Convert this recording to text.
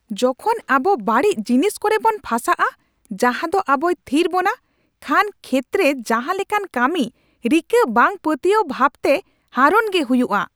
ᱡᱚᱠᱷᱚᱱ ᱟᱵᱚ ᱵᱟᱹᱲᱤᱡ ᱡᱤᱱᱤᱥ ᱠᱚᱨᱮ ᱵᱚᱱ ᱯᱷᱟᱥᱟᱜᱼᱟ ᱡᱟᱦᱟᱸᱫᱚ ᱟᱵᱚᱭ ᱛᱷᱤᱨ ᱵᱚᱱᱟ ᱠᱷᱟᱱ ᱠᱷᱮᱛᱨᱮ ᱡᱟᱦᱟ ᱞᱮᱠᱟᱱ ᱠᱟᱹᱢᱤ ᱨᱤᱠᱟᱹ ᱵᱟᱝ ᱯᱟᱹᱛᱭᱟᱹᱣ ᱵᱷᱟᱵᱛᱮ ᱦᱟᱨᱚᱱ ᱜᱮ ᱦᱩᱭᱩᱜᱼᱟ ᱾